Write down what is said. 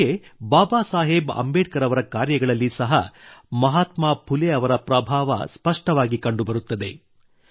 ನಮಗೆ ಬಾಬಾ ಸಾಹೇಬ್ ಅಂಬೇಡ್ಕರ್ ಅವರ ಕಾರ್ಯಗಳಲ್ಲಿ ಸಹ ಮಾಹಾತ್ಮಾ ಫುಲೆ ಅವರ ಪ್ರಭಾವ ಸ್ಪಷ್ಟವಾಗಿ ಕಂಡುಬರುತ್ತದೆ